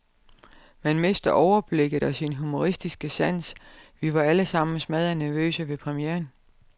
Man mister overblikket, og sin humoristiske sans, vi var alle sammen smaddernervøse ved premieren.